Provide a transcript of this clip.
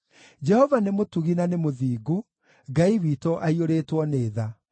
Jehova nĩ mũtugi na nĩ mũthingu; Ngai witũ aiyũrĩtwo nĩ tha.